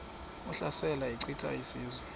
ehlasela echitha izizwe